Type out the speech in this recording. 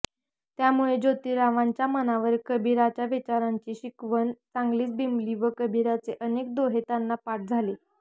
त्यामुळे जोतीरावांच्या मनावर कबीराच्या विचारांची शिकवण चांगलीच बिंबली व कबीराचे अनेक दोहे त्यांना पाठ झाले